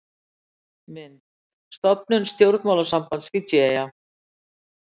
Mynd: Stofnun stjórnmálasambands við Fídjieyjar.